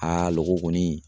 loko kɔni.